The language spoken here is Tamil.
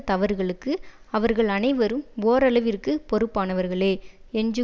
தவறுகளுக்கு அவர்கள் அனைவரும் ஓரளவிற்குப் பொறுப்பானவர்களே என்று